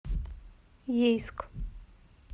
ейск